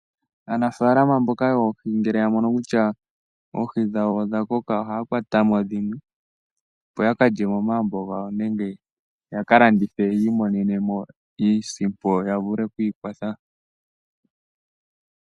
Aanafaalama mboka yoohi ngele yamono kutya oohi dhawo odhakoka ohaa kwatamo opo yakalye momagumbo gawo nenge yakalandithe yiimonene mo iisimpo yavule okwiikwathela.